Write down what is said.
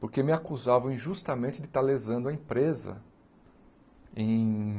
Porque me acusavam injustamente de estar lesando a empresa em...